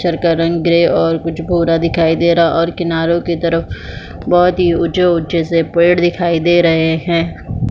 पत्थर का रंग कुछ ग्रे और कुछ भूरा दिखाई दे रहा है और किनारो के तरफ बहोत ही उचे उचे से पेड़ दिखाई दे रहे है।